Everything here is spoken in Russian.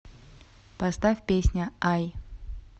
поставь песня ай